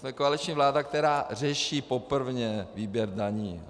Jsme koaliční vláda, která řeší poprvé výběr daní.